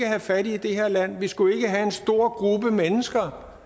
have fattige i det her land vi skulle ikke have en stor gruppe mennesker